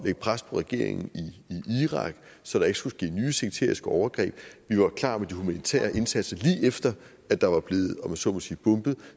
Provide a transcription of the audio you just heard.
lægge pres på regeringen i irak så der ikke skulle ske nye sekteriske overgreb vi var klar med de humanitære indsatser lige efter at der var blevet om jeg så må sige bombet